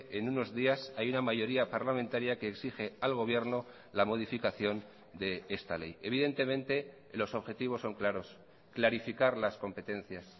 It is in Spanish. en unos días hay una mayoría parlamentaria que exige al gobierno la modificación de esta ley evidentemente los objetivos son claros clarificar las competencias